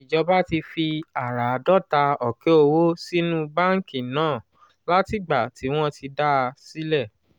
ìjọba ti fi àràádọ́ta ọ̀kẹ́ owó sínú báńkì náà látìgbà tí wọ́n ti dá a sílẹ̀.